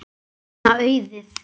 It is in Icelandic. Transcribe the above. Þeim varð þriggja barna auðið.